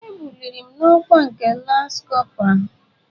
E buliri m n'ọkwa nke lance corpora.